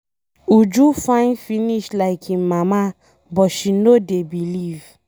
Uju fine finish like im Mama but she no dey believe